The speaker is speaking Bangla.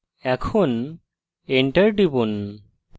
এখন enter টিপুন